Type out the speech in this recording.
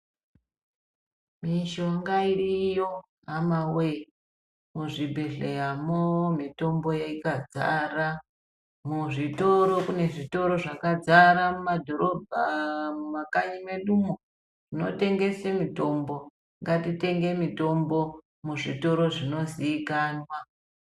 Mishonga iriyo hama we! Muzvibhedhleya mo, mitombo yakazara, muzvitoro munezvitoro zvakazara mumadhorobha ,mumakanyi medu umu , munotengese mitombo. Ngatitenge mitombo muzvitoro zvinozikanwa .